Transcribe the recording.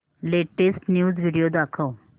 latest news video दाखव